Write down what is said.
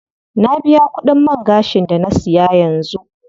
Na biya kudin man gashin da na siya yanzu.